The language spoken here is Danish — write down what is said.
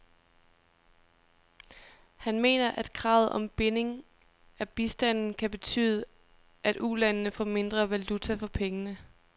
Han mener, at kravet om binding af bistanden kan betyde, at ulandene får mindre valuta for pengene.